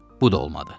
Bu da olmadı.